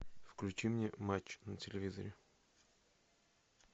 включи мне матч на телевизоре